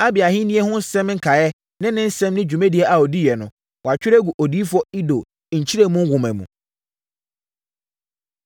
Abia ahennie ho nsɛm nkaeɛ ne ne nsɛm ne dwuma a ɔdiiɛ no, wɔatwerɛ agu Odiyifoɔ Ido Nkyerɛmu Nwoma mu.